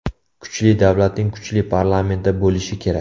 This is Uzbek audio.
Kuchli davlatning kuchli parlamenti bo‘lishi kerak.